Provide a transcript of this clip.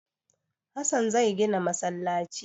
Hassan zai gina masallaci.